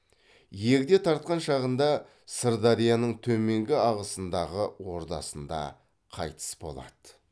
егде тартқан шағында сырдарияның төменгі ағысындағы ордасында қайтыс болады